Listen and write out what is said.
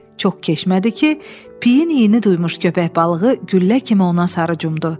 Çox keçmədi ki, piyin iyini duymuş köpək balığı güllə kimi ona sarı cumdu.